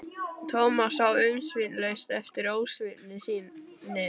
Thomas sá umsvifalaust eftir ósvífni sinni.